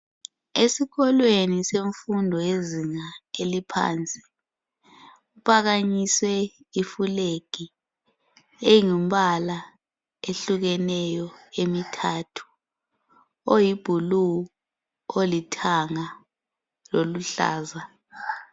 Esikolweni semfundo yezinga eliphansi .Kuphakanyiswe ilflag engumbala ohlukeneyo emithathu .Oyiblue ,olithanga loluhlaza.